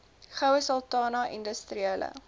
goue sultana industriele